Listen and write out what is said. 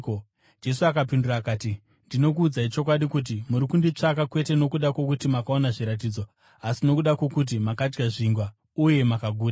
Jesu akapindura akati, “Ndinokuudzai chokwadi kuti, muri kunditsvaka, kwete nokuda kwokuti makaona zviratidzo, asi nokuda kwokuti makadya zvingwa uye mukaguta.